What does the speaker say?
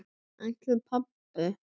Ætlar pabbi?